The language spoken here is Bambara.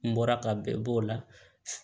N bɔra ka bɛɛ b'o la